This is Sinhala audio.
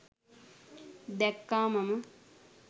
දැක්කා මම.